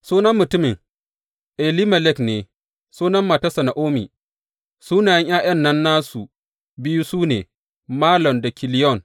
Sunan mutumin, Elimelek ne, sunan matarsa Na’omi; sunayen ’ya’yan nan nasu biyu, su ne Malon da Kiliyon.